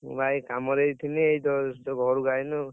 ମୁଁ ଭାଇ କାମ ରେ ଆଇଥିଲି ଏଇ just ଘରକୁ ଆଇଲି ଆଉ।